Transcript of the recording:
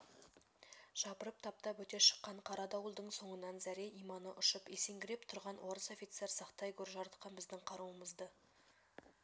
жапырып таптап өте шыққан қара дауылдың соңынан зәре-иманы ұшып есеңгіреп тұрған орыс офицер сақтай гөр жаратқан біздің қаруымызды